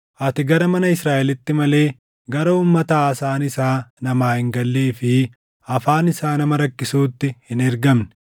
Ati gara mana Israaʼelitti malee gara uummata haasaan isaa namaa hin gallee fi afaan isaa nama rakkisuutti hin ergamne;